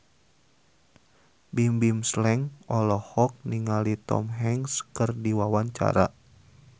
Bimbim Slank olohok ningali Tom Hanks keur diwawancara